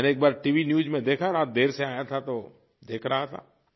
मैंने एक बार टीवी न्यूज़ में देखा रात देर से आया था तो देख रहा था